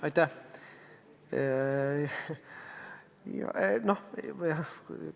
Aitäh!